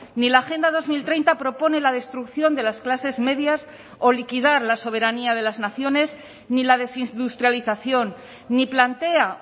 ni la agenda dos mil treinta propone la destrucción de las clases medias o liquidar la soberanía de las naciones ni la desindustrialización ni plantea